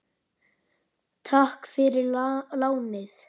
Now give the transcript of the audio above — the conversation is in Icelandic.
Takk fyrir lánið!